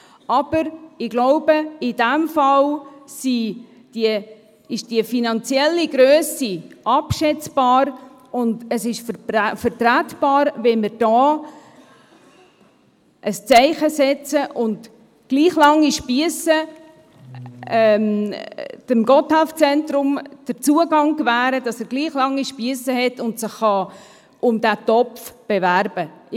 Aber ich glaube, in diesem Fall ist die finanzielle Grösse abschätzbar, und es ist vertretbar, wenn wir hier ein Zeichen setzen und dem Gotthelf-Zentrum den Zugang gewähren, sodass es gleich lange Spiesse hat und sich um diesen Topf bewerben kann.